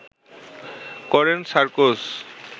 করেন সার্কোজ